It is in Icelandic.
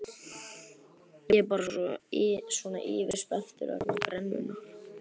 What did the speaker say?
Ég er bara svona yfirspenntur vegna brennunnar.